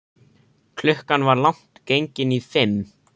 Klukkan var langt gengin í fimm.